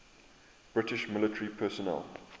british military personnel